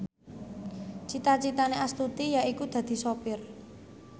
cita citane Astuti yaiku dadi sopir